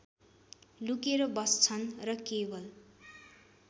लुकेर बस्छन् र केवल